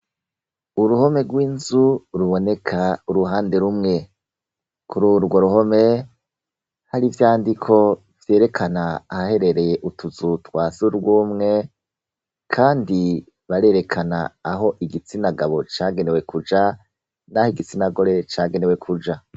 Uruhome rw'inzu ruboneka uruhande rumwe. kuri urwo ruhome, hari ivyandiko vyerekana ahaherereye utuzu twa Surwumwe kandi barerekana aho igitsina gabo cagenewe kuja n'aho igitsina gore cagenewe kuja.